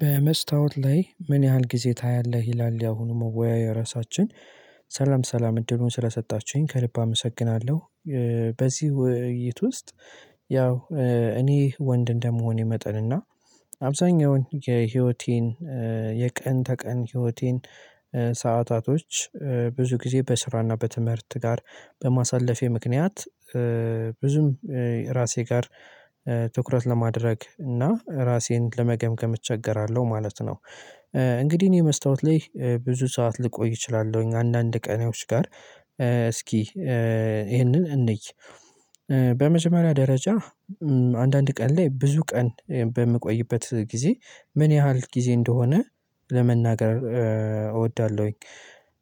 በመስታወት ላይ ምን ያህል ጊዜ ታያለህ? ይላል ያሁኑ መወያያ ርዕሳችን። ሰላም ሰላም እድሉን ስለሰጣችሁኝ ከልብ አመሰግናለሁ። በዚህ ውይይት ውስጥ። ያው እኔ ወንድ እንደመሆኔ መጠንና አብዛኛውን የህይወቴን የቀን ተቀን ህይወቴን ሰዓታቶች ብዙ ጊዜ በስራና በትምህርት ጋር በማሳለፌ ምክንያት ብዙም ራሴ ጋር ትኩረት ለማድረግ እና ራሴን ለመገምገም እቸገራለሁ ማለት ነው። እንግዲህ የመስታወት ላይ ብዙ ሰዓት ልቆይ እችላለሁኝ አንዳንድ ቀኔዎች ጋር እስኪ ይህንን እንይ። በመጀመሪያ ደረጃ አንዳንድ ቀን ላይ ብዙ ቀን በምቆይበት ጊዜ ምን ያህል ጊዜ እንደሆነ ለመናገር እወዳለሁኝ።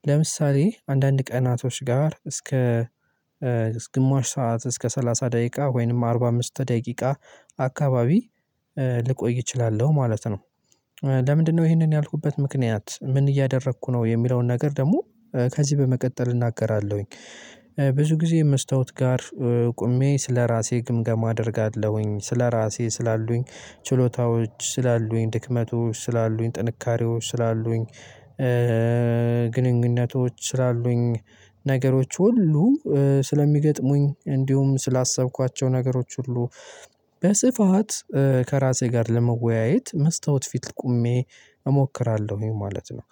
ለምሳሌ አንዳንድ ቀናቶች ጋር እስከ ግማሽ ሰዓት እስከ ሰላሳ ደቂቃ ወይንም አርባ አምስት ደቂቃ አካባቢ ልቆይ እችላለሁ ማለት ነው። ለምንድነው ይህንን ያልኩበት ምክንያት ምን እያደረኩ ነው የሚለውን ነገር ደግሞ ከዚህ በመቀጠል እናገራለሁኝ። ብዙ ጊዜ መስታወት ጋር ቆሜ ስለራሴ ግምገማ አደርጋለሁኝ ስለራሴ ስላሉኝ ችሎታዎች ስላሉኝ ድክመቶች ስላሉኝ ጥንካሬዎች ስላሉኝ ግንኙነቶች ስላሉኝ ነገሮች ሁሉ ስለሚገጥሙኝ እንዲሁም ስላሰብኳቸው ነገሮች ሁሉ በስፋት ከራሴ ጋር ለመወያየት መስተዋት ፊት ቆሜ እሞክራለሁ ማለት ነው።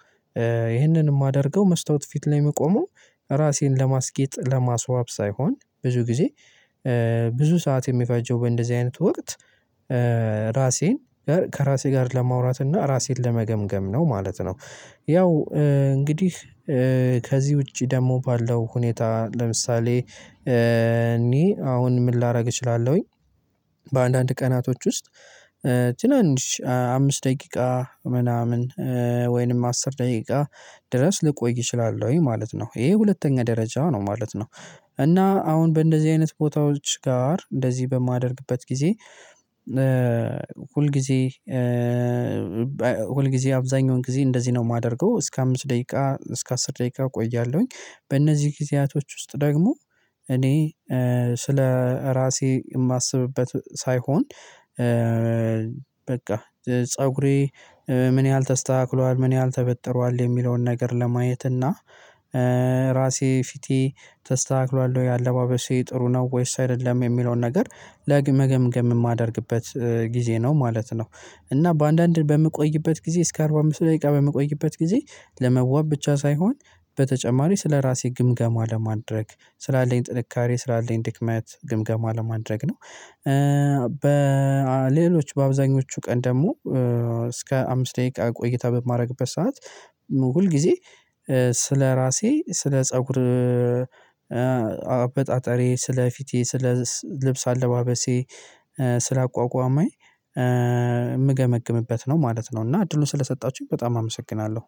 ይህንን የማደርገው መስተዋት ፊት ላይ እምቆመው ራሴን ለማስጌጥ ለማስዋብ ሳይሆን ብዙ ጊዜ ብዙ ሰዓት የሚፈጀው በእንደዚህ አይነት ወቅት ራሴን ከራሴ ጋር ለማውራት እና ራሴን ለመገምገም ነው ማለት ነው። ያው እንግዲህ ከዚህ ውጪ ደግሞ ባለው ሁኔታ ለምሳሌ እንይ አሁን ምን ላደርግ እችላለሁኝ? በአንዳንድ ቀናቶች ውስጥ ትናንሽ አምስት ደቂቃ ምናምን ወይንም አስር ደቂቃ ድረስ ልቆይ እችላለሁ ወይ ማለት ነው ይሄ ሁለተኛ ደረጃ ነው ማለት ነው። እና አሁን በእንደዚህ አይነት ቦታዎች ጋር እንደዚህ በማደርግበት ጊዜ ሁል ጊዜ ሁል ጊዜ አብዛኛውን ጊዜ እንደዚህ ነው የማደርገው እስከ አምስት ደቂቃ እስከ አስር ደቂቃ ቆያለሁኝ በእነዚህ ጊዜያቶች ውስጥ ደግሞ እኔ ስለ ራሴ የማስብበት ሳይሆን። በቃ ፀጉሬ ምን ያህል ተስተካክሏል ምን ያህል ተበጥሯል የሚለውን ነገር ለማየት እና ራሴ ፊቴ ተስተካክሏል የአለባበሴ ጥሩ ነው ወይስ አይደለም የሚለውን ነገር ለመገምገም የማደርግበት ጊዜ ነው ማለት ነው። እና በአንዳንድ በምቆይበት ጊዜ እስከ አርባ አምስት ደቂቃ በምቆይበት ጊዜ ለመዋብ ብቻ ሳይሆን በተጨማሪ ስለራሴ ግምገማ ለማድረግ ስላለኝ ጥንካሬ ስላለኝ ድክመት ግምገማ ለማድረግ ነው። በሌሎች በአብዛኞቹ ቀን ደግሞ እስከ አምስት ደቂቃ ቆይታ በማርግበት ሰዓት ሁል ጊዜ ስለራሴ ስለ ፀጉር አበጣጣሬ ስለ ፊቴ ስለ ልብስ አለባበሴ ስለ አቋቋሜ የምገመግምበት ነው ማለት ነው። እና እድሉን ስለሰጣችሁኝ በጣም አመሰግናለሁ